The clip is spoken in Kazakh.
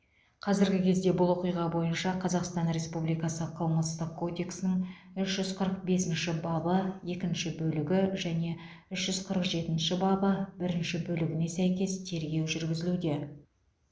қазіргі кезде бұл оқиға бойынша қазақстан республикасы қылмыстық кодексінің үш жүз қырық бесінші бабы екінші бөлігі және үш жүз қырық жетінші бабы бірінші бөлігіне сәйкес тергеу жүргізілуде